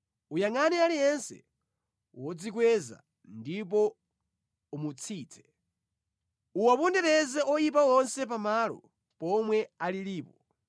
Uyangʼane aliyense wodzikweza ndipo umutsitse, uwapondereze oyipa onse pamalo pomwe alilipo.